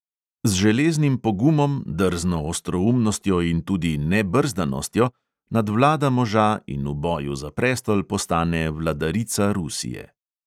Z železnim pogumom, drzno ostroumnostjo in tudi nebrzdanostjo nadvlada moža in v boju za prestol postane vladarica rusije.